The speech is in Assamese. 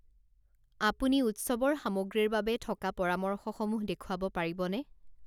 আপুনি উৎসৱৰ সামগ্ৰীৰ বাবে থকা পৰামৰ্শসমূহ দেখুৱাব পাৰিবনে?